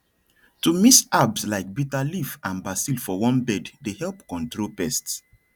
to mix herbs like bitter leaf and basil for one bed dey help control pests